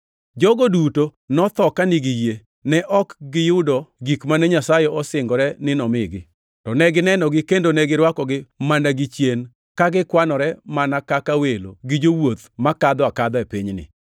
Jogo duto notho ka nigi yie. Ne ok giyudo gik mane Nyasaye osingore ni nomigi, to ne ginenogi kendo ne girwakogi mana gichien, ka gikwanore mana kaka welo gi jowuoth makadho akadha e pinyni.